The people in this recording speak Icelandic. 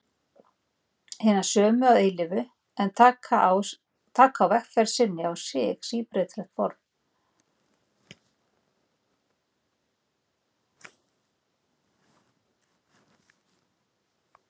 Hinar sömu að eilífu, en taka á vegferð sinni á sig síbreytileg form.